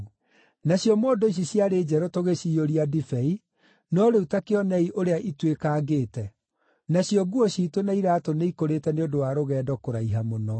Nacio mondo ici ciarĩ njerũ tũgĩciyũria ndibei, no rĩu ta kĩonei ũrĩa ituĩkangĩte. Nacio nguo ciitũ na iraatũ nĩikũrĩte nĩ ũndũ wa rũgendo kũraiha mũno.”